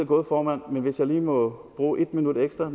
gået formand men hvis jeg lige må bruge et minut ekstra